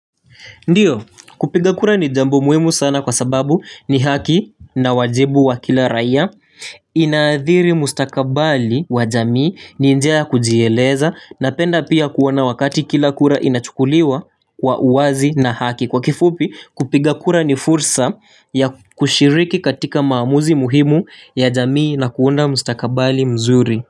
Ndiyo kupiga kura ni jambo muhimu sana kwa sababu ni haki na wajibu wa kila raia Inaadhiri mustakabali wa jamii ni njia kujieleza Napenda pia kuona wakati kila kura inachukuliwa kwa uwazi na haki Kwa kifupi kupiga kura ni fursa ya kushiriki katika maamuzi muhimu ya jamii na kuunda mustakabali mzuri.